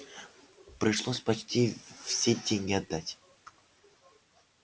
пришлось почти все деньги отдать